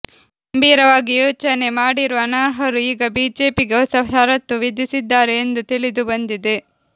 ಗಂಭೀರವಾಗಿ ಯೋಚನೆ ಮಾಡಿರುವ ಅನರ್ಹರು ಈಗ ಬಿಜೆಪಿಗೆ ಹೊಸ ಷರತ್ತು ವಿಧಿಸಿದ್ದಾರೆ ಎಂದು ತಿಳಿದು ಬಂದಿದೆ